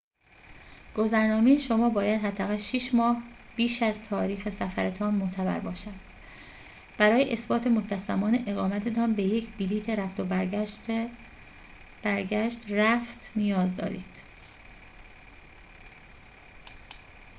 گذرنامه شما باید حداقل 6 ماه بیش از تاریخ سفرتان معتبر باشد. برای اثبات مدت زمان اقامت‌تان به یک بلیط رفت و برگشت/رفت نیاز دارید